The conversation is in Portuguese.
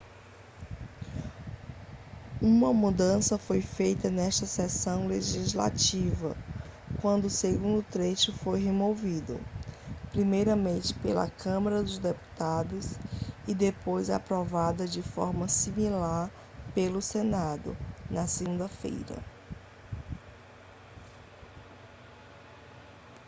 uma mudança foi feita nesta sessão legislativa quando o segundo trecho foi removido primeiramente pela câmara dos deputados e depois aprovada de forma similar pelo senado na segunda-feira